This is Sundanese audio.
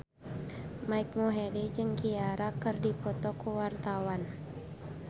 Mike Mohede jeung Ciara keur dipoto ku wartawan